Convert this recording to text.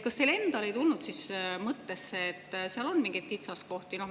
Kas teil endal ei tulnud siis mõttesse, et seal on mingeid kitsaskohti?